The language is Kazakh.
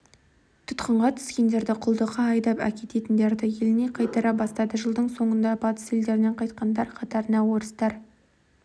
тұтқынға түскендерді құлдыққа айдап әкеткендерді еліне қайтара бастады жылдың соңында батыс елдерінен қайтқандар қатарында орыстар